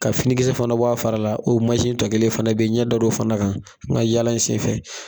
Ka finikisɛ fana bɔ a fara la o tɔ kelen fana beyi n ɲɛ da fana kan n ka yala in senfɛ.